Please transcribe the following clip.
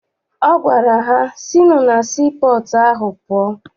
Ọ gwara ha, sinụ na sii pọọtụ ahụ pụọ!